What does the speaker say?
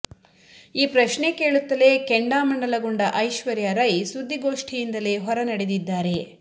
ಈ ಪ್ರಶ್ನೆ ಕೇಳುತ್ತಲೇ ಕೆಂಡಾಮಂಡಲಗೊಂಡ ಐಶ್ವರ್ಯಾ ರೈ ಸುದ್ದಿಗೋಷ್ಟಿಯಿಂದಲೇ ಹೊರ ನಡೆದಿದ್ದಾರೆ